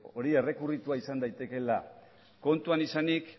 hori errekurritua izan daitekeela kontutan izanik